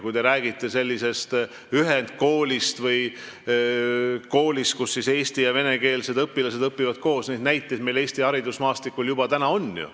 Kui te räägite sellisest ühendkoolist või koolist, kus eesti- ja venekeelsed õpilased õpivad koos, siis neid näiteid meil ju Eesti haridusmaastikul juba on.